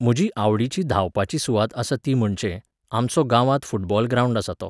म्हजी आवडीची धांवपाची सुवात आसा ती म्हणचे, आमचो गांवांत फुटबॉल ग्रांवड आसा तो.